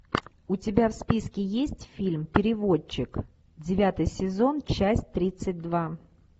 у тебя в списке есть фильм переводчик девятый сезон часть тридцать два